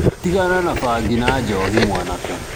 Tigana na bangi na njohi mwanake.